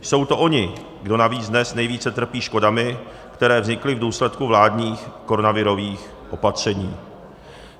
Jsou to oni, kdo navíc dnes nejvíce trpí škodami, které vznikly v důsledku vládních koronavirových opatření.